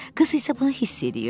Qız isə bunu hiss eləyirdi.